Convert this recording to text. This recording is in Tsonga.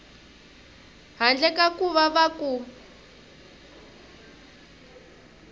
handle ka ku va ku